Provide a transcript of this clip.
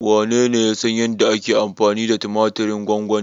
Wanene ya san yadda ake amfani da tumatirin gwamgwani?